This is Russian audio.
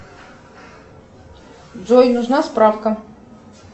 джой нужна справка